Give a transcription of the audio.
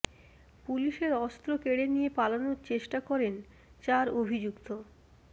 পুলিশের অস্ত্র কেড়ে নিয়ে পালানোর চেষ্টা করেন চার অভিযুক্ত